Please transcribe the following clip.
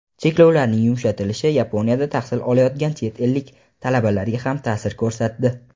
Cheklovlarning yumshatilishi Yaponiyada tahsil olayotgan chet ellik talabalarga ham ta’sir ko‘rsatdi.